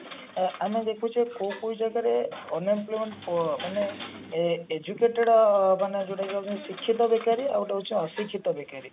ଅ ଆମେ ଦେଖୁଛେ କୋଉ କୋଉ ଜାଗାରେ unemployment ପ ମାନେ ଏ educated ମାନେ ଯୋଉଟା କି ଆମେ ଶିକ୍ଷିତ ବେକାରୀ ଆଉ ଗୋଟେ ହଉଛି ଅଶିକ୍ଷିତ ବେକାରୀ